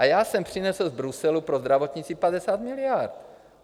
A já jsem přinesl z Bruselu pro zdravotnictví 50 miliard.